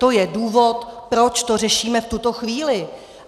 To je důvod, proč to řešíme v tuto chvíli.